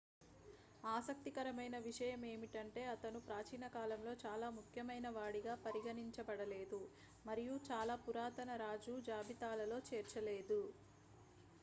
ఆసక్తికరమైన విషయం ఏమిటంటే అతను ప్రాచీన కాలంలో చాలా ముఖ్యమైనవాడిగా పరిగణించబడలేదు మరియు చాలా పురాతన రాజు జాబితాలలో చేర్చలేదు